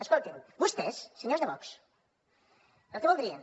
escoltin vostès senyors de vox el que voldrien